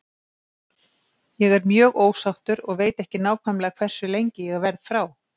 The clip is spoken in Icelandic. Ég er mjög ósáttur og veit ekki nákvæmlega hversu lengi ég verð frá.